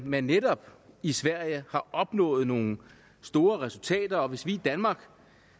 man netop i sverige har opnået nogle store resultater og at hvis vi i danmark